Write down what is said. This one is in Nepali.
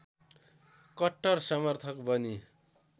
कट्टर समर्थक बनी